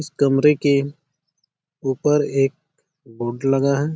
इस कमरे के ऊपर एक बोर्ड लगा है।